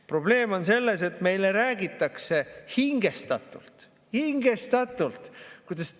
Probleem on selles, et meile räägitakse hingestatult – hingestatult!